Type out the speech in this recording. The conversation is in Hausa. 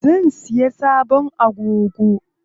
Zan siya sabon agogo.